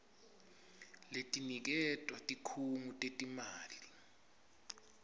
letiniketwa tikhungo tetimali